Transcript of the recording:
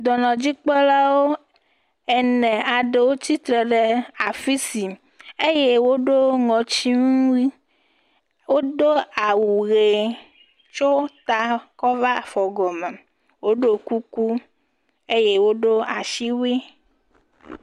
Dɔnɔdzikpɔlawo ene aɖewo tsitre ɖe afi si, eye woɖo ŋɔtinuwui, wodo awu ʋe tso ta kɔ va afɔ gɔme. Woɖo kuku eye woɖo asiwui.